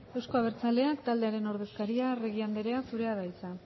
euzko abertzalean taldearen ordezkaria arregi anderea zurea da hitza